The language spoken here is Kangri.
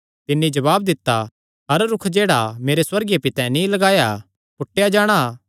तिन्नी जवाब दित्ता हर रूख जेह्ड़ा मेरे सुअर्गीय पितैं नीं लगाया पूटेया जाणा